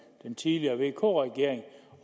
den tidligere vk regering